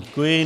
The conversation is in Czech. Děkuji.